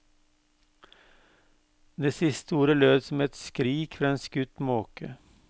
Det siste ordet lød som et skrik fra en skutt måke.